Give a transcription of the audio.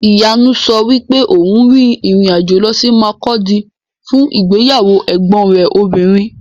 Ìyanu sọ wípé òun rin ìrìn-àjò lọ sí Makurdi fún ìgbéyàwó ẹ̀gbọn rẹ̀ obìnrin.